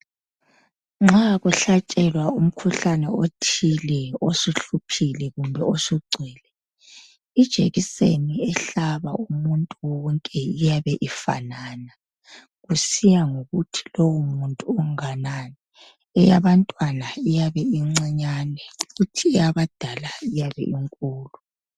Nxa kuhlatshelwa umkhuhlane othile osuhluphile kumbe osugcwele ijekiseni ehlaba umuntu wonke iyabe ifanana kusiya ngokuthi lowomuntu unganani. Eyabantwana iyabe incinyane kuthi eyabadala iyabe inkulu.